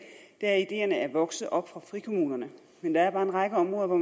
er at ideerne er vokset op fra frikommunerne men der er bare en række områder hvor